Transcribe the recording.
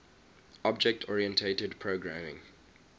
object oriented programming